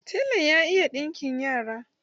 Telan ya iya ɗinkin yara.